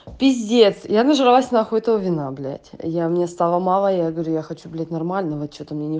пиздец я нажралась нахуй этого вина блять я мне стало мало я говорю я хочу блять нормального чего-то что-то мне не